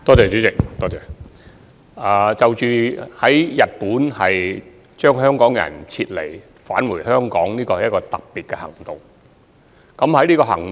主席，將身處日本的香港人撤離送回香港，是一項特別行動。